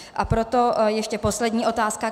A proto ještě poslední otázka.